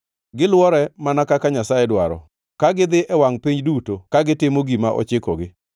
Gilwore mana kaka Nyasaye dwaro, ka gidhi e wangʼ piny duto ka gitimo gima ochikogi.